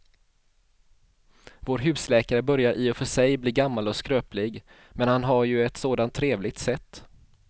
Vår husläkare börjar i och för sig bli gammal och skröplig, men han har ju ett sådant trevligt sätt!